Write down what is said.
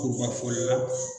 Kuruba foli la